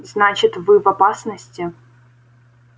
значит вы в опасности